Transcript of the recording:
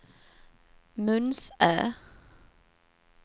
Munsö